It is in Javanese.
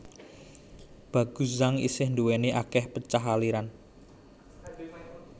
Baguazhang isih duwéni akeh pecahan aliran